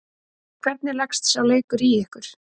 Hvernig leggst sá leikur í ykkur?